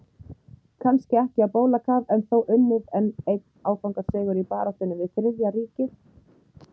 Kannski ekki á bólakaf en þó unnið enn einn áfangasigur í baráttunni við Þriðja ríkið.